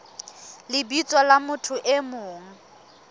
lebitsong la motho e mong